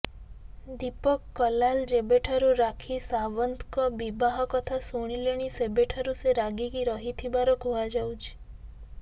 ଦିପକ୍ କଲାଲ ଯେବେଠାରୁ ରାକ୍ଷୀ ସାୱନ୍ତଙ୍କ ବିବାହ କଥା ଶୁଣିଲେଣି ସେବେଠାରୁ ସେ ରାଗିକି ରହିଥିବାର କୁହାଯାଉଛି